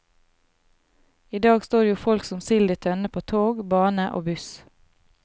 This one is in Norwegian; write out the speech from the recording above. I dag står jo folk som sild i tønne på tog, bane og buss.